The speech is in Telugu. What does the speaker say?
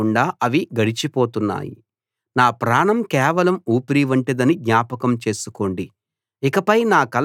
నా ప్రాణం కేవలం ఊపిరి వంటిదని జ్ఞాపకం చేసుకోండి ఇకపై నా కళ్ళకు ఎలాంటి మంచీ కనబడదు